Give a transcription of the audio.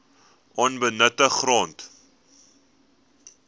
onbenutte grond